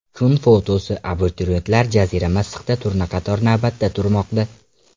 Kun fotosi: Abituriyentlar jazirama issiqda turnaqator navbatda turmoqda.